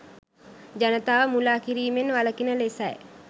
ජනතාව මුළා කිරිමෙන් වළකින ලෙසයි